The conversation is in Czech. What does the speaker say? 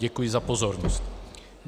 Děkuji za pozornost.